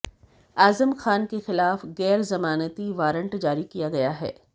आजम खान के खिलाफ गैरजमानती वारंट जारी किया गया है